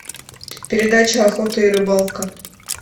передача охота и рыбалка